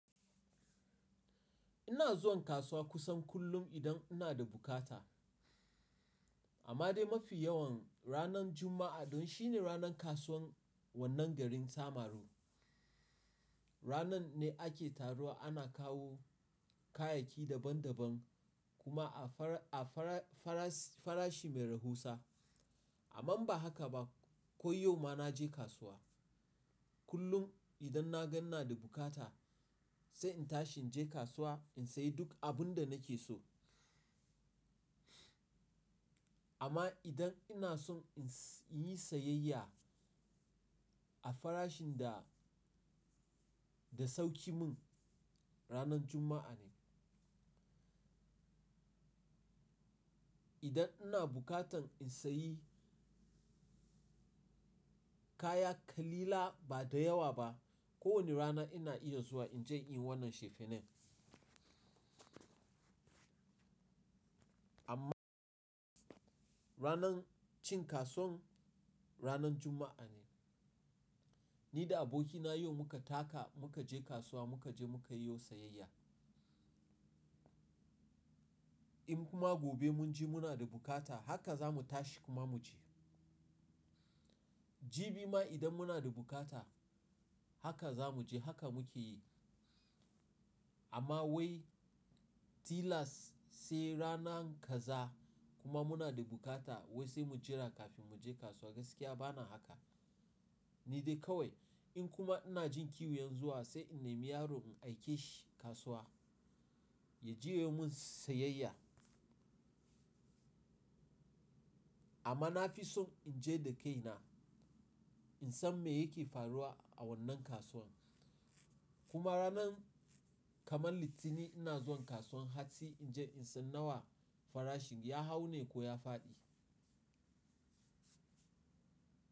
Ina zuwan kasuwa kusan kullum idan ina da bukata. Amma dai mafi yawan ranar Juma'a don shi ne ranar kasuwan wannan garin Samaru. Ranan ne ake taruwa ana kawo kayayyaki daban daban kuma a fara, a fara, farashi mai rahusa. Amman ba haka ba ko yau ma na je kasuwa. Kullum idan na gan ina da bukata sai in tashi in je kasuwa in sayi duk abun da nake so. Amma idan ina son in yi sayayya a farashin da, da sauki mun ranar Juma'a ne. Idan ina bukatan in sayi kaya kalila ba da yawa ba, kowane rana ina iya zuwa in je in yi wannan shefenan. Amma ranan cin kasuwan ranan Juma'a ne. Ni da abokina yau muka taka muka je kasuwa muka je muka yiwo sayayya. In kuma gobe mun ji muna da bukata haka zamu tashi kuma mu je. Jibi ma idan muna da bukata haka za mu je haka muke yi. Amma wai tilas sai rana gaza kuma muna da bukata wai sai mu jira kafin mu je kasuwa gaskiya bana haka. Ni dai kawai in kuma ina jin kiwo yanzu wa sai in nemi yaro in aike shi kasuwa ya je yayo min sayayya. Amma na fi son in je da kaina, in san me yake faruwa a wannan kasuwan. Kuma ranan kamar Litinin ina zuwan kasuwan hatsi in je in san nawa farashin ya hau ne ko ya faɗi.